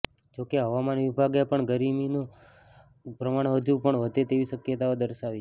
જો કે હવામાન વિભાગે પણ ગરમીનું પ્રમાણ હજુ પણ વધે તેવી શક્યતાઓ દર્શાવી છે